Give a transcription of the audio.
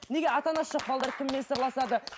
неге ата анасы жоқ балалар кіммен сырласады